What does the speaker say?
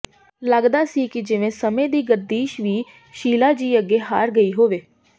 ਲਗਦਾ ਸੀ ਕਿ ਜਿਵੇਂ ਸਮੇਂ ਦੀ ਗਰਦਿਸ਼ ਵੀ ਸ਼ੀਲਾ ਜੀ ਅੱਗੇ ਹਾਰ ਗਈ ਹੋਵੇ